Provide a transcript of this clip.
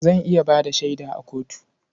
Zan iya ba da shaida a kotu.